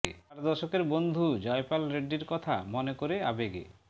চার দশকের বন্ধু জয়পাল রেড্ডির কথা মনে করে আবেগে